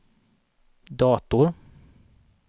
dator